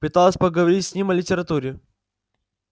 пыталась поговорить с ним о литературе